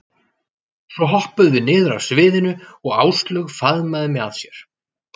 Svo hoppuðum við niður af sviðinu og Áslaug faðmaði mig að sér.